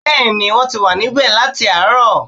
Bẹ́ẹ̀ni, wọ́n ti wà níbẹ̀ láààrọ̀